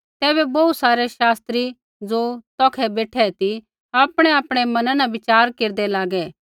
तैबै बोहू सारै शास्त्री ज़ो तौखै बेठै ती आपणैआपणै मना न विचार केरदै लागै